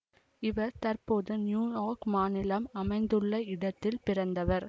இவர் தற்போது New York மாநிலம் அமைந்துள்ள இடத்தில் பிறந்தவர்